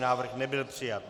Návrh nebyl přijat.